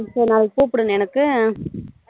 அப்போ நாளைக்கு கூப்டு எனக்கு